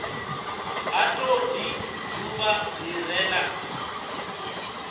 ha todi dzuvha li re